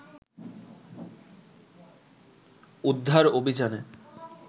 উদ্ধার অভিযানে